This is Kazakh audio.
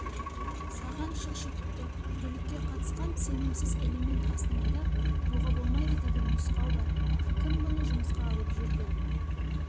саған шұқшиыпты бүлікке қатысқан сенімсіз элемент астанада тұруға болмайды деген нұсқау бар кім бұны жұмысқа алып жүр деп